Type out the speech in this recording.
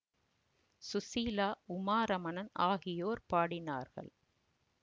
சுசீலா உமா ரமணன் ஆகியோர் பாடினார்கள்